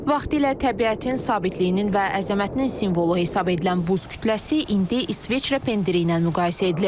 Vaxtilə təbiətin sabitliyinin və əzəmətinin simvolu hesab edilən buz kütləsi indi İsveçrə pendiri ilə müqayisə edilir.